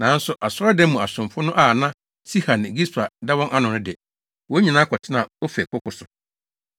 Nanso Asɔredan mu asomfo no a na Siha ne Gispa da wɔn ano no de, wɔn nyinaa kɔtenaa Ofel koko so.